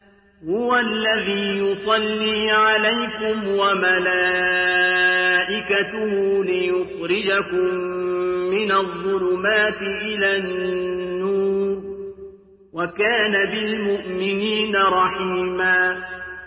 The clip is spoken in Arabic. هُوَ الَّذِي يُصَلِّي عَلَيْكُمْ وَمَلَائِكَتُهُ لِيُخْرِجَكُم مِّنَ الظُّلُمَاتِ إِلَى النُّورِ ۚ وَكَانَ بِالْمُؤْمِنِينَ رَحِيمًا